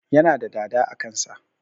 Yana da dada a kan sa